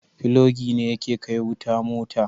Filogi ne yake kai wuta mota